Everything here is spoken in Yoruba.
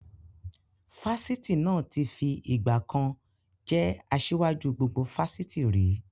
Fásitì náà tí fi ìgbàkan jẹ́ asiwaju gbogbo Fásitì ri